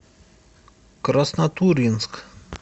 краснотурьинск